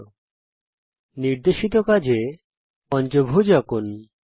নির্দেশিত কাজ হিসেবে আমি চাই যে আপনি একটি পঞ্চভুজ আঁকুন